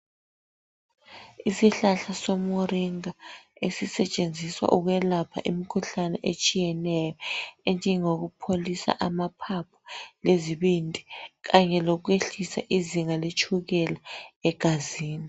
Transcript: Isihlahla somuringa esisetshenziswa ukwelapha imikhuhlane etshiyeneyo enjengokupholisa amaphaphu lezibindi kanye lokwehlisa izinga letshukela egazini.